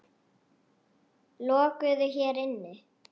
Lokuðu hér inni.